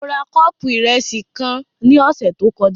Mo ra kọ́ọ̀pù ìrẹsì kan ní ọ̀sẹ̀ tó kọjá